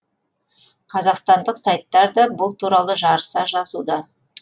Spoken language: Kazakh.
қазақстандық сайттар да бұл туралы жарыса жазуда